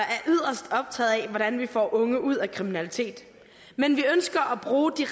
er yderst optaget af hvordan vi får unge ud af kriminalitet men vi ønsker at bruge de